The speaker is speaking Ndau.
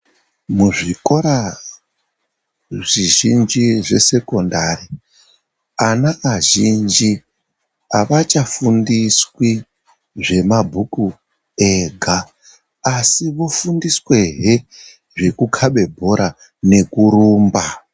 Muzvikora zvizhinji zvesekondari ana azhinji avachafundiswe zvemabhuku ega asi vofundiswazve zvekukabe bhora nekurumba.